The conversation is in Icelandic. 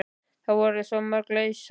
Það voru svo mörg laus sæti.